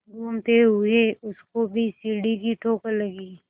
घूमते हुए उसको भी सीढ़ी की ठोकर लगी